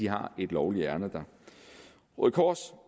har et lovligt ærinde der røde kors og